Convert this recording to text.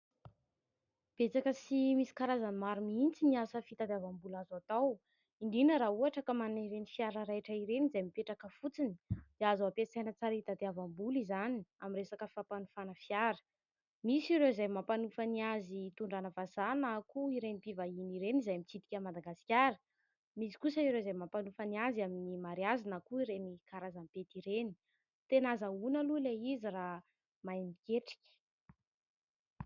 Betsaka ary misy karazany maro mihitsy ny asa fitadiavam-bola azo atao indrindra moa raha ohatra manana ireny fiara raitra ireny izy mipetraka fotsiny dia azo ampiasaina tsara mihitsy fitadiavam-bola izany amin'ny resaka fampanofana fiara, misy ireo mampanofa ny azy hitondrana vazaha na koa ireny mpivahiny ireny izay mitsidika amin'ny Madagasikara, , misy kosa ireo mampanofa ny azy amin'ny mariazy na koa ireny karazam-pety ireny. Tena ahazaona aloha Ilay izy raha mahay miketrika.